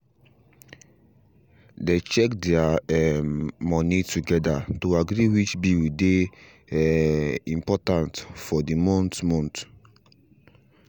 they check their um money together to agree which bill dey um important for the month month